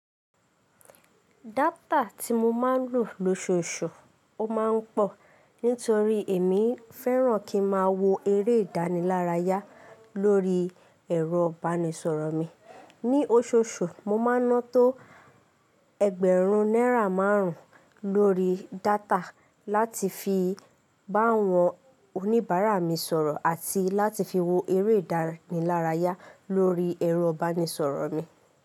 Data tí mo máa ń lò lóṣooṣù ó máa ń pọ̀ nítorí èmi fẹ́ràn kí n máa wo eré ìdánilárayá lórí ẹ̀rọ ìbánisọ̀rọ̀ mi. Ní oṣooṣù, mo máa ń ná tó ẹgbẹ̀rún náírà márùn lórí data láti fi bá àwọn oníbàárà mi sọ̀rọ̀ àti láti fi wo eré ìdánilárayá lórí ẹ̀rọ ìbánisọ̀rọ̀ mi.